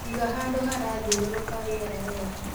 Iga handũ harathiũrũrũka riera wega